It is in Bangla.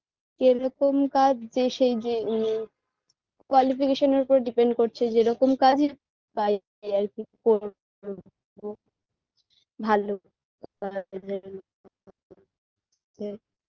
কিরকম কাজ যে সেই যে উম qualification -এর উপর depend করছে যেরকম কাজই পাই এই আরকি করব ভাল কাজ যেরকম